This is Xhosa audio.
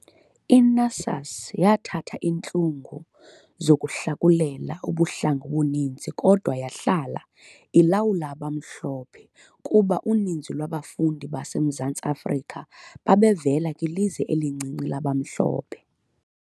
I-NUSAS yathatha intlungu zokuhlakulela ubuhlanga obuninzi kodwa yahlala ilawulwa abamhlophe kuba uninzi lwabafundi base Mzantsi Afrika babevela kwilizwe elincinci labamhlophe.